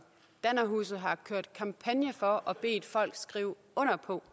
dannerhuset har kørt kampagner for og bedt folk skrive under på